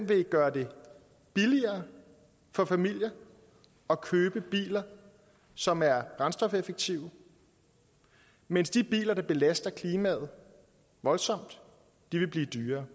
vil gøre det billigere for familier at købe biler som er brændstofeffektive mens de biler der belaster klimaet voldsomt vil blive dyrere